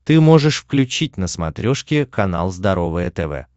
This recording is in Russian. ты можешь включить на смотрешке канал здоровое тв